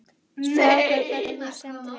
Strákar, hvernig, eruð þið stemmdir hérna?